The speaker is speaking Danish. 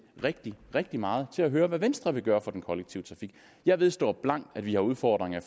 rigtig rigtig meget til at høre hvad venstre vil gøre for den kollektive trafik jeg vedstår blankt at vi har udfordringer